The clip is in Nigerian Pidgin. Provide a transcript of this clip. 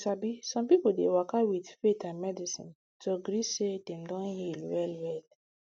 you sabi some people dey waka with faith and medicine to gree say dem don heal well well